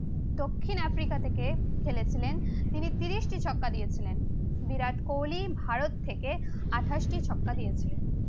দক্ষিণ আফ্রিকা থেকে খেলেছিলেন তিনি তিরিশটি ছক্কা দিয়েছিলেন। বিরাট কোহলি ভারত থেকে আটাশটি ছক্কা দিয়েছিলেন।